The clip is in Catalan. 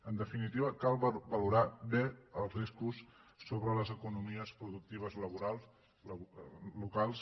en definitiva cal valorar bé els riscos sobre les economies productives locals